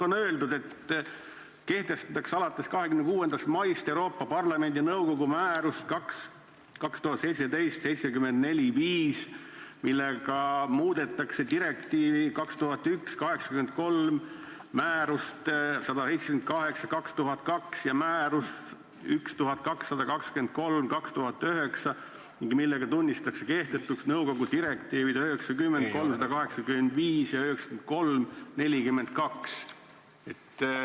On öeldud, et kohaldatakse alates 26. maist Euroopa Parlamendi ja nõukogu määrust nr 2017/745, millega muudetakse direktiivi 2001/83, määrust nr 178/2002 ja määrust 1223/2009 ning millega tunnistatakse kehtetuks nõukogu direktiivid 90/385 ja 93/42.